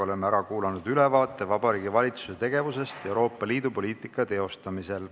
Oleme ära kuulanud ülevaate Vabariigi Valitsuse tegevusest Euroopa Liidu poliitika teostamisel.